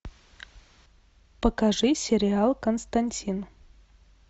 покажи сериал константин